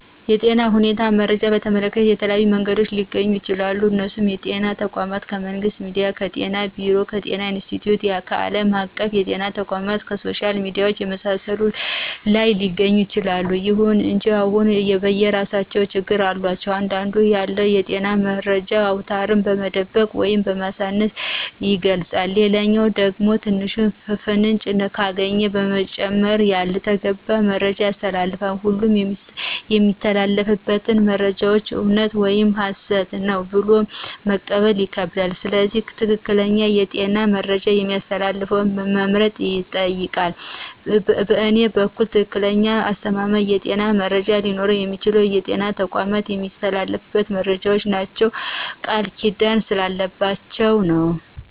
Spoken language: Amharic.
የጤና ሁኔታን መረጃን በተመለከተ ከተለያዩ መንገዶች ሊገኙ ይችላሉ እነሱም ከጤና ተቋማት :ከመንግስት ሚዲያዎች :ከጤና ቢሮ :ከጤና ኢንስትቲዮት :ከአለም አቀፍ የጤና ተቋማት :ከሶሻል ሚዲያዎች የመሳሰሉት ላይ ሊገኝ ይችላል። ይሁን እንጂ ሁሉም የየራሳቸው ችግሮች አሏቸው አንዳንዱ ያለውን የጤና መረጃ አውነታውን በመደበቅ ወይም በማሳነስ ይገልጻል ሌላኛው ደግሞ ትንሽ ፍንጭ ካገኘ በመጨማመር ያልተገባ መረጃ ያስተላልፋል ሁሉም የሚተላለፉት መረጃዎች እውነት ነው ወይም ሀሰት ነው ብሎ መቀበል ይከብዳል ስለዚህ ትክክለኛ የጤና መረጃ የሚያስተላልፈውን መምረጥ ይጠይቃል በእኔ በኩል ትክክለኛና አስተማማኝ የጤና መረጃ ሊኖረው የሚችለው በጤና ተቋማት የሚተላለፉት መረጃዎች ናቸው ቃልኪዳን ስላለባቸው ነው።